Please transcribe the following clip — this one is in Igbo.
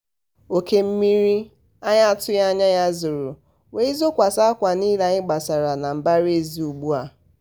oke mmiri anyị n'atụghị anya ya zoro wee zokwasị akwa niile anyị gbasara na mbaraezi ugbua.